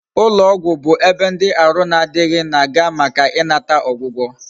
Ulo ogwu bu ebe ndi Aru na adighi, na aga maka inata ogwugo